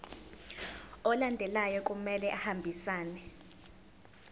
alandelayo kumele ahambisane